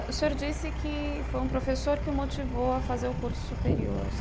O senhor disse que foi um professor que o motivou a fazer o curso superior.